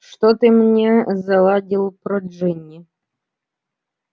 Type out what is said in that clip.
что ты мне заладил про джинни